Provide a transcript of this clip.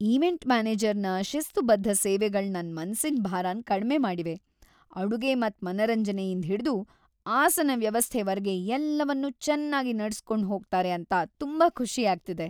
Event ಮ್ಯಾನೇಜರ್ನ ಶಿಸ್ತುಬದ್ಧ ಸೇವೆಗಳ್ ನನ್ ಮನಸ್ಸಿನ್ ಬಾರನ್ ಕಡ್ಮೆ ಮಾಡಿವೆ - ಅಡುಗೆ ಮತ್ ಮನರಂಜನೆಯಿಂದ್ ಹಿಡ್ದು ಆಸನ ವ್ಯವಸ್ಥೆ ವರ್ಗೆ ಎಲ್ಲವನ್ನೂ ಚೆನ್ನಾಗ್ ನಡ್ಸ್ ಕೊಂಡ್ ಹೋಗ್ತಾರೆ ಅಂತ ತುಂಬಾ ಖುಷಿ ಆಗ್ತಿದೆ.